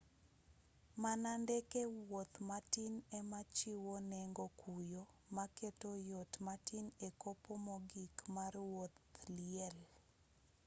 mana ndeke wuoth matin ema chiwo nengo kuyo maketo yot matin e kopo mogik mar wuodh liel